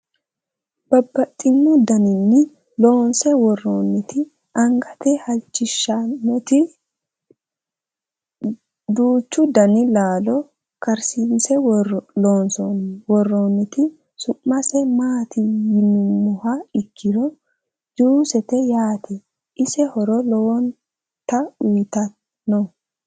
Babaxxittinno daniinni loonsse woroonnitti angatte halichishannotti, duuchu danni laallo karissinne loonse woroonnitti, su'mase maatti yinummoha ikkiro juussette yaatte. ise horo lowotta uyiittanno.